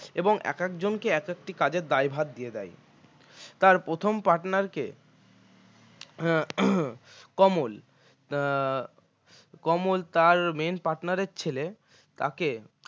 এবং একজনকে এক একটি কাজের দায়ভার দিয়ে দেয় তার প্রথম partner কে কমল আহ কমল তাঁর main partner এর ছেলে তাকে